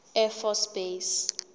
air force base